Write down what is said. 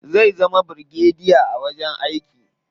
Zai zama birigadiya a wajen aiki.